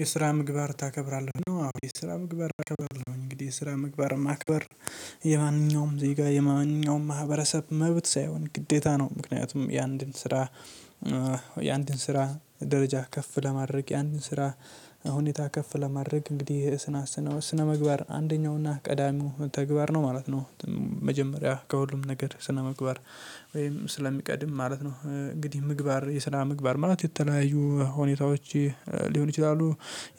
የስራ ምግባር ታከብራለህ ነው? አዎ የስራ ምግባር አከብራለሁ እንግዲህ የስራ ምግባር ማክበር የማንኛውም ዜጋ የማንኛውም ማህበረሰብ መብት ሳይሆን ግዴታ ነው ምክንያቱም የአንድን ስራ የአንድን ስራ ደረጃ ከፍ ለማድረግ የአንድን ስራ ሁኔታ ከፍ ለማድረግ እንግዲህ ስነ ስነ ስነ ስነ ምግባር አንደኛውና ቀዳሚው ተግባር ነው ማለት ነው። መጀመሪያ ከሁሉም ነገር ስነምግባር ወይም ስለሚቀድም ማለት ነው። እንግዲህ ምግባር የስነ ምግባር ማለት የተለያዩ ሁኔታዎች ሊሆን ይችላሉ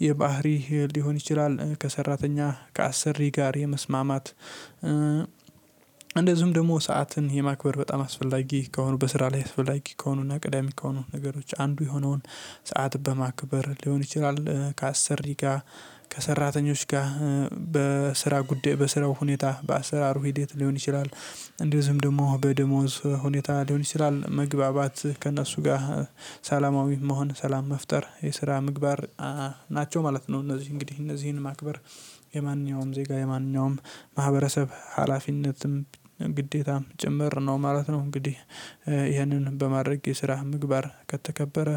የባህሪ ሊሆን ይችላል። ከሰራተኛ ከአስር ሪ ጋር የመስማማት እንደዚሁም ደግሞ ሰዓትን የማክበር በጣም አስፈላጊ ከሆኑ በስራ ላይ አስፈላጊ ከሆኑ እና ቀዳሚ ከሆኑ ነገሮች አንዱ የሆነውን ሰዓት በማክበር ሊሆን ይችላል ከአሰሪ ጋር ከሰራተኞች ጋር በስራ ጉዳይ በስራው ሁኔታ በአሰራሩ ሂደት ሊሆን ይችላል። እንደዚሁም ደግሞ በደሞዝ ሁኔታ ሊሆን ይችላል መግባባት ከእነሱ ጋር ሰላማዊ መሆን ሰላም መፍጠር የስራ ምግባር ናቸው ማለት ነው። እነዚህ እንግዲህ እነዚህን ማክበር የማንኛውም ዜጋ የማንኛውም ማህበረሰብ ሀላፊነትም ግዴታም ጭምር ነው ማለት ነው። እንግዲህ ይህንን በማድረግ የስራ ምግባር ከተከበረ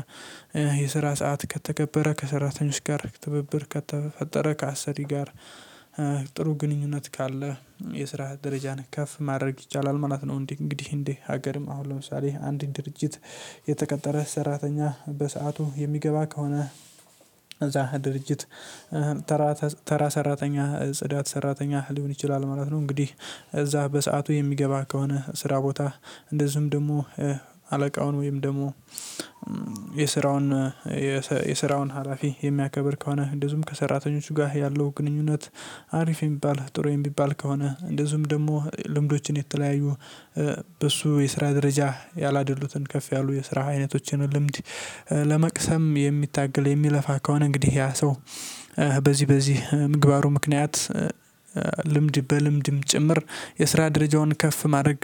የስራ ሰዓት ከተከበረ ከሰራተኞች ጋር ትብብር ከተፈጠረ ከአሰሪ ጋር ጥሩ ግንኙነት ካለ የስራ ደረጃህን ከፍ ማድረግ ይቻላል ማለት ነው። እንዲ እንግዲህ እንዴ ሀገርም አሁን ለምሳሌ አንድ ድርጅት የተቀጠረ ሰራተኛ በሰአቱ የሚገባ ከሆነ እዛ ድርጅት ተራ ተራ ሰራተኛ ጽዳት ሰራተኛ ሊሆን ይችላል ማለት ነው። እንግዲህ እዛ በሰአቱ የሚገባ ከሆነ ስራ ቦታ እንደዚሁም ደግሞ አለቃውን ወይም ደግሞ የስራውን የስራውን ሀላፊ የሚያከብር ከሆነ እንደዚሁም ከሰራተኞቹ ጋር ያለው ግንኙነት አሪፍ የሚባል ጥሩ የሚባል ከሆነ እንደዚሁም ደግሞ ልምዶችን የተለያዩ በሱ የስራ ደረጃ ያላደሉትን ከፍ ያሉ የስራ አይነቶችን ልምድ ለመቅሰም የሚታገል የሚለፋ ከሆነ እንግዲህ ያ ሰው በዚህ በዚህ ምግባሩ ምክንያት ልምድ በልምድም ጭምር የስራ ደረጃውን ከፍ ማድረግ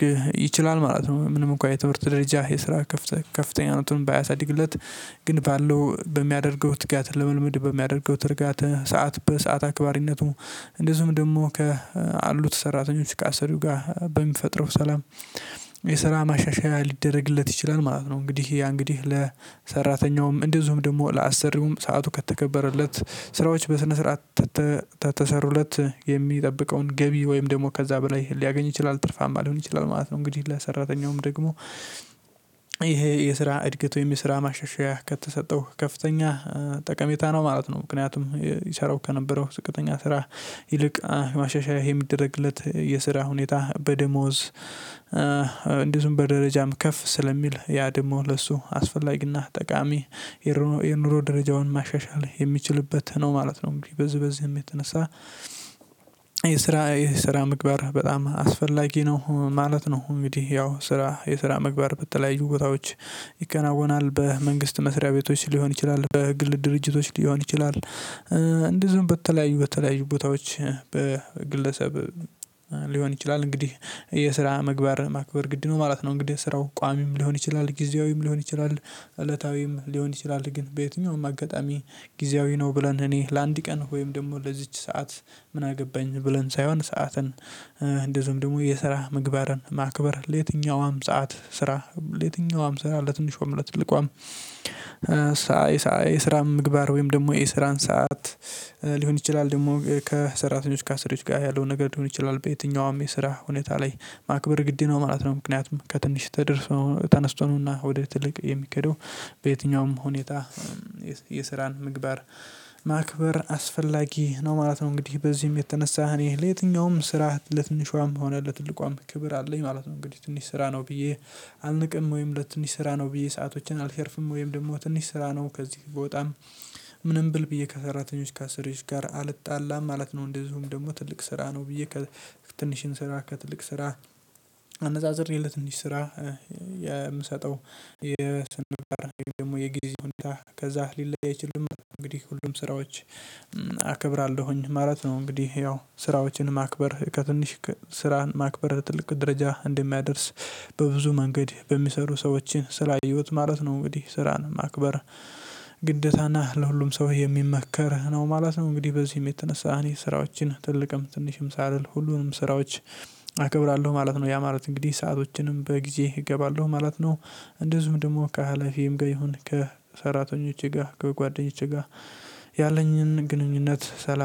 ይችላል ማለት ነው። ምንም እንኳን የትምህርት ደረጃ የስራ ከፍተኛ ከፍተኛነቱን ባያሳድግለት ግን ባለው በሚያደርገው ትጋት ለመልመድ በሚያደርገው ትርጋት ሰዓት በሰአት አክባሪነቱ እንደዚሁም ደግሞ ካሉት ሰራተኞች ካሰሪው ጋር በሚፈጥረው ሰላም የስራ ማሻሻያ ሊደረግለት ይችላል ማለት ነው። እንግዲህ ያ እንግዲህ ለሰራተኛውም እንደዚሁም ደግሞ ለአሰሪውም ሰዓቱ ከተከበረለት ስራዎች በስነ ስርዓት ተሰሩለት የሚጠብቀውን ገቢ ወይም ደግሞ ከዛ በላይ ሊያገኝ ይችላል ትርፋማ ሊሆን ይችላል ማለት ነው። እንግዲህ ለሰራተኛውም ደግሞ ይሄ የስራ እድገት ወይም የስራ ማሸሸሽ ከተሰጠው ከፍተኛ ጠቀሜታ ነው ማለት ነው። ምክንያቱም ይሰራው ከነበረው ዝቅተኛ ስራ ይልቅ ማሻሻያ ይሄ የሚደረግለት የስራ ሁኔታ በደሞዝ እንዲሁም በደረጃም ከፍ ስለሚል ያ ደሞ ለሱ አስፈላጊና ጠቃሚ የኑሮ የኑሮ ደረጃውን ማሻሻል የሚችልበት ነው ማለት ነው። እንዴ በዚህ በዚህም የተነሳ የስራ የስራ ምግባር በጣም አስፈላጊ ነው ማለት ነው። እንግዲህ ያው ስራ የስራ ምግባር በተለያዩ ቦታዎች ይከናወናል በመንግስት መስሪያ ቤቶች ሊሆን ይችላል በግል ድርጅቶች ሊሆን ይችላል። እንደዚሁም በተለያዩ በተለያዩ ቦታዎች በግለሰብ ሊሆን ይችላል እንግዲህ የስራ ምግባር ማክበር ግድ ነው ማለት ነው። እንግዲህ ስራው ቋሚም ሊሆን ይችላል ጊዜያዊም ሊሆን ይችላል እለታዊም ሊሆን ይችላል ግን በየትኛውም አጋጣሚ ጊዜያዊ ነው ብለን እኔ ለአንድ ቀን ወይም ደግሞ ለዚች ሰዓት ምን አገባኝ ብለን ሳይሆን ሰዓትን እንደ ዝምድሙ የስራ ምግባርን ማክበር ለየትኛውም ሰዓት ስራ ለየትኛውም ስራ ለትንሿም ለትልቋም ሳይ የስራ ምግባር ወይም ደግሞ የስራን ሰዓት ሊሆን ይችላል ደግሞ ከሰራተኞች ከአስሪዎች ጋር ያለውን ነገር ሊሆን ይችላል በየትኛውም የስራ ሁኔታ ላይ ማክበር ግድ ነው ማለት ነው። ምክንያቱም ከትንሽ ተደርሶ ተነስቶና ወደ ትልቅ የሚከደው በየትኛውም ሁኔታ የስራን ምግባር ማክበር አስፈላጊ ነው ማለት ነው። እንግዲህ በዚህም የተነሳ እኔ ለየትኛውም ስራ ለትንሿም ሆነ ለትልቋም ክብር አለኝ ማለት ነው። እንግዲህ ትንሽ ስራ ነው ብዬ አልንቅም ወይም ለትንሽ ስራ ነው ብዬ ሰአቶችን አልሸርፍም ወይም ደግሞ ትንሽ ስራ ነው ከዚህ ብወጣም ምንም ብል ብዬ ከሰራተኞች ከአሰሪዎች ጋር አልጣላም ማለት ነው። እንደዚሁም ደግሞ ትልቅ ስራ ነው ብዬ ከትንሽን ስራ ከትልቅ ስራ አነጻጽሬ ለትንሽ ስራ የምሰጠው የሰነፈር ደግሞ የጊዜውን ሁኔታ ከዛ ሊለይ አይችልም እንግዲህ ሁሉም ስራዎች አከብራለሁኝ ማለት ነው። እንግዲህ ያው ስራዎችን ማክበር ከትንሽ ስራህን ማክበር ትልቅ ደረጃ እንደሚያደርስ በብዙ መንገድ በሚሰሩ ሰዎችን ስላየሁት ማለት ነው። እንግዲህ ስራን ማክበር ግደታና ለሁሉም ሰው የሚመከር ነው ማለት ነው። እንግዲህ በዚህም የተነሳ እኔ ስራዎችን ትልቅም ትንሽም ሳልል ሁሉንም ስራዎች አከብራለሁ ማለት ነው ያ ማለት እንግዲህ ሰአቶችንም በጊዜ እገባለሁ ማለት ነው። እንደዚሁም ደግሞ ከኃላፊዬም ጋር ሀላፊም ጋር ይሁን ከሰራተኞቼ ጋር ከጓደኞቼ ጋር ያለኝን ግንኙነት ሰላም